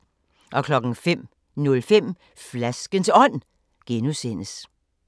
05:05: Flaskens Ånd (G)